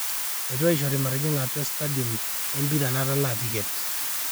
eitu aishori matijinga atua e stadium e mpira natalaa ticket